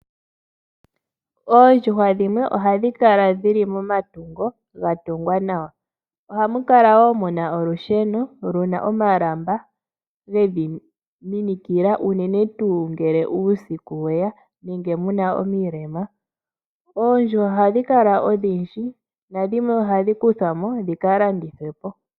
Oondjuhwa dhimwe ohashikala dhili momatungo ngatungwa nawa ohakukala wo muna olusheno luna omalamba ngedhiminikila unene tu ngele uusiku weya nenge muna omilema, oondjuhwa ohashikala odhindji nadhimwe ohadhikuthwamo dhikalandithwe po.